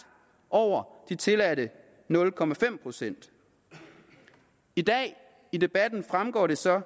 over de tilladte nul procent i dag fremgår det så